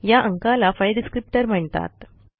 या अंकाला file descriptor म्हणतात